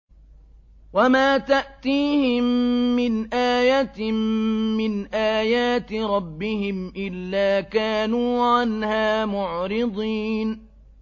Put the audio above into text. وَمَا تَأْتِيهِم مِّنْ آيَةٍ مِّنْ آيَاتِ رَبِّهِمْ إِلَّا كَانُوا عَنْهَا مُعْرِضِينَ